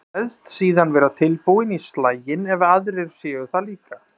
Kveðst síðan vera tilbúinn í slaginn ef aðrir séu það líka.